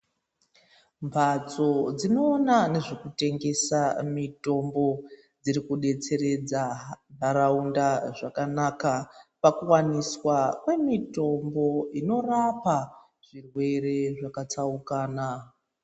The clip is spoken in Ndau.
Mphatso dzinoona ngezvekutengesa mitombo dzirikudetseredza ntaraunda zvakanaka pakuwaniswa kwemitombo inorapa zvirwere zvakatsaukana.